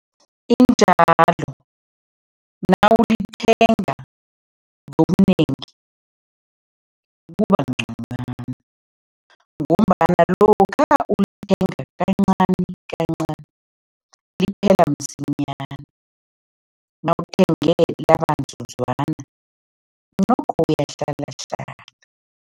Injalo, nawulithenga ngobunengi kuba ngconywana ngombana lokha ulithenga kancanikancani, liphela msinyana, nawuthenge nokho uyahlalahlala.